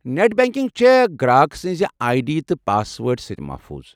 Net banking چھےٚ گراك سنزِ آیہ ڈی تہٕ پاس وٲرڈٕ سۭتۍ محفوٗظ ۔